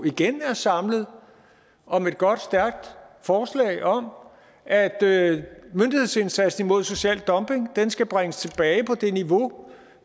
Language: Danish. igen er samlet om et godt og stærkt forslag om at myndighedsindsatsen mod social dumping skal bringes tilbage på det niveau